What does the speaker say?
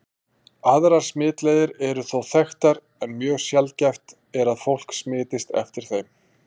Aðrar smitleiðir eru þó þekktar, en mjög sjaldgæft er að fólk smitist eftir þeim.